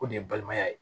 O de ye balimaya ye